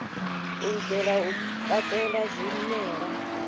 u itela u katela zwimela